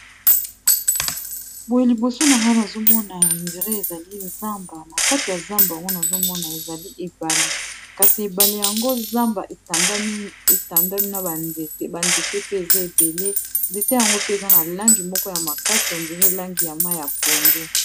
boye liboso na wana azomona ya indire ezali zamba na kati ya zamba ango n azomona ezali ebale kasi ebale yango zamba etandami na banzete banzete pe eza ebele nzete yango pe eza na langi moko ya makasi endire langi ya mai ya pondu